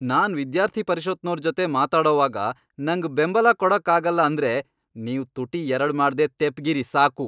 ನಾನ್ ವಿದ್ಯಾರ್ಥಿ ಪರಿಷತ್ನೋರ್ ಜೊತೆಗ್ ಮಾತಾಡೋವಾಗ ನಂಗ್ ಬೆಂಬಲ ಕೊಡಕ್ಕಾಗಲ್ಲ ಅಂದ್ರೆ ನೀವ್ ತುಟಿ ಎರಡ್ ಮಾಡ್ದೇ ತೆಪ್ಪ್ಗಿರಿ ಸಾಕು.